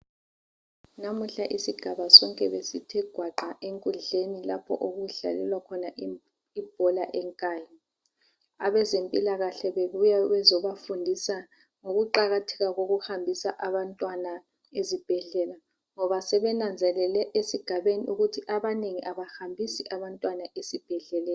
Namuhla isigaba sonke besithe gwaqa enkundleni lapho okudlalelwa khona ibhola eNkayi. Abezempilakahle bebuya bezobafundisa ngokuqakatheka kokuhambisa abantwana ezibhedlela ngoba sebenanzelele esigabeni abanengi abahambisi abantwana esibhedleleni.